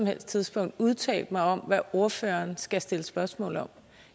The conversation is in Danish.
helst tidspunkt udtalt mig om hvad ordføreren skal stille spørgsmål om